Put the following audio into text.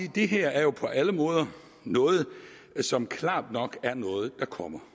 at det her jo på alle måder er noget som klart nok kommer